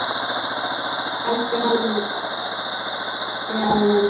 Elsku Halli afi minn.